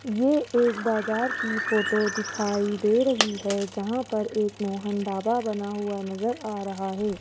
ये एक बाजार की फोटो दिखाई दे रही है जहां पर एक मोहन ढाबा बना हुआ नजर आ रहा है।